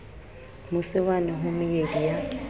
mose wane ho meedi ya